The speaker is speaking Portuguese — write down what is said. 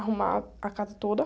Arrumar a casa toda.